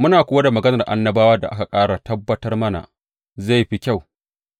Muna kuwa da maganar annabawa da aka ƙara tabbatar mana, zai fi kyau